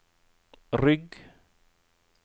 rygg